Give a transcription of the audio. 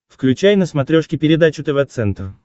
включай на смотрешке передачу тв центр